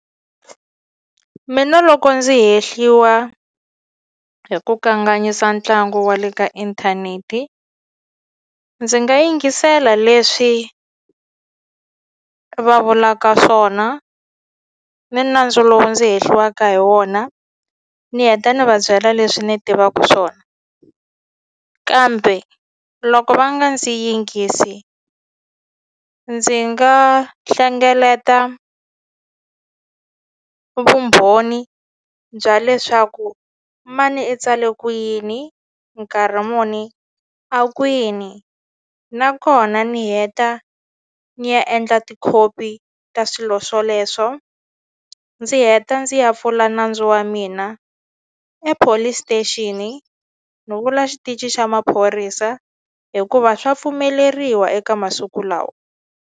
Mina loko ndzi hehliwa hi ku kanganyisa ntlangu wa le ka inthaneti ndzi nga yingisela leswi va vulaka swona ni nandzu lowu ndzi hehliwaka hi wona ni heta ni va byela leswi ni tivaku swona kambe loko va nga ndzi yingisi ndzi nga hlengeleta vumbhoni bya leswaku mani i tsale ku yini nkarhi muni a kwini nakona ni heta ni ya endla tikhopi ta swilo swoleswo ndzi heta ndzi ya pfula nandzu wa mina ePolice Station ni vula xitichi xa maphorisa hikuva swa pfumeleriwa eka masiku lawa.